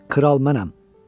Kral mənəm.